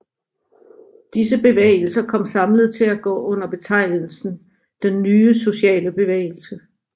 Disse bevægelser kom samlet til at gå under betegnelsen Den Nye Sociale Bevægelse